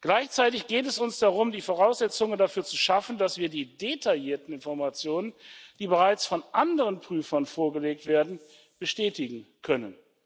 Gleichzeitig geht es uns darum, die Voraussetzungen dafür zu schaffen, dass wir die detaillierten Informationen, die bereits von anderen Prüfern vorgelegt werden, bestätigen können.